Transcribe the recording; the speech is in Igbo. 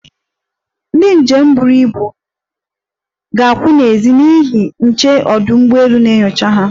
Ndị njem buru ibu ga-akwụ n'ezi n'ihi ndị nche ọdụ ugbọelu na-enyocha ha.